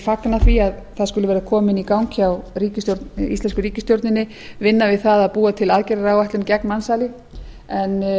fagna því að það skuli vera komin í gang vinna hjá íslensku ríkisstjórninni vinna við það að búa til aðgerðaráætlun gegn mansali en